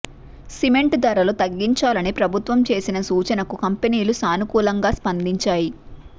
cement ధరలు తగ్గించాలని ప్రభుత్వం చేసిన సూచనకు కంపెనీలు సానుకూలంగా స్పందించాయి